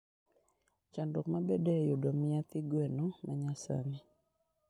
Chandruok mabedoe e yudo mya thi gweno ma nyasani.